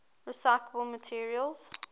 recyclable materials